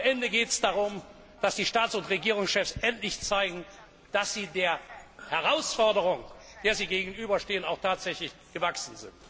Am Ende geht es darum, dass die Staats und Regierungschefs endlich zeigen, dass sie der Herausforderung, der sie gegenüberstehen, auch tatsächlich gewachsen sind.